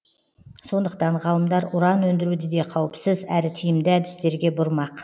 сондықтан ғалымдар уран өндіруді де қауіпсіз әрі тиімді әдістерге бұрмақ